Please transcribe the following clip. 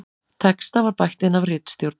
Texta var bætt inn af ritstjórn